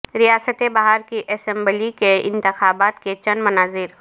ریاست بہار کی اسمبلی کے انتخابات کے چند مناظر